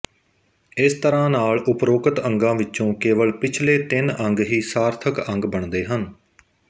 ਇਸ ਤਰਾਂ ਨਾਲ ਉਪਰੋਕਤ ਅੰਗਾਂ ਵਿਚੋਂ ਕੇਵਲ ਪਿਛਲੇ ਤਿੰਨ ਅੰਗ ਹੀ ਸਾਰਥਕ ਅੰਗ ਬਣਦੇ ਹਨ